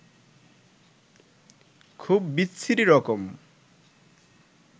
খুব বিচ্ছিরি রকম